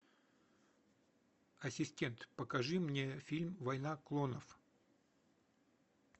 ассистент покажи мне фильм война клонов